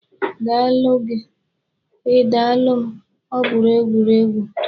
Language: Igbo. Ndalụ gị, Ị dalụ m, ọbụrụ egwuregwu.